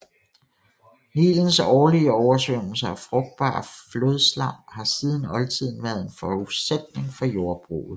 Nilens årlige oversvømmelser og frugtbare flodslam har siden oldtiden været en forudsætning for jordbruget